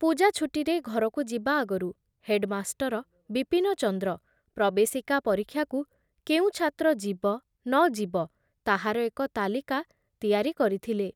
ପୂଜା ଛୁଟିରେ ଘରକୁ ଯିବା ଆଗରୁ ହେଡ଼ମାଷ୍ଟର ବିପିନଚନ୍ଦ୍ର ପ୍ରବେଶିକା ପରୀକ୍ଷାକୁ କେଉଁ ଛାତ୍ର ଯିବ ନ ଯିବ ତାହାର ଏକ ତାଲିକା ତିଆରି କରିଥିଲେ ।